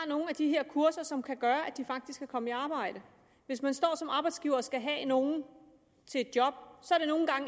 nogle af de her kurser som kan gøre at de faktisk kan komme i arbejde hvis man står som arbejdsgiver og skal have nogen til et job